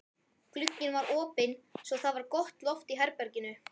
Glugginn var opinn svo það var gott loft í herberginu.